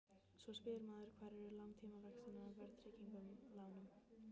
Svo spyr maður hvar eru langtímavextirnir af verðtryggðum lánum?